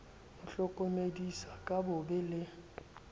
mo hlokomedisa ka bobe le